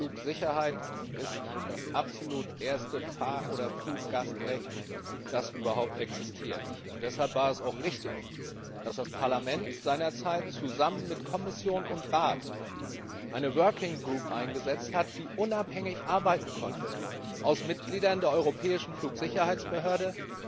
Die Flugsicherheit ist das absolut erste Fahr oder Fluggastrecht, das überhaupt existiert. Deshalb war es auch richtig, dass das Parlament seinerzeit zusammen mit Kommission und Rat eine eingesetzt hat, die unabhängig arbeiten konnte, bestehend aus Mitgliedern der europäischen Flugsicherheitsbehörde,